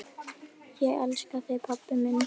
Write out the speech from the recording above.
Ég elska þig, pabbi minn.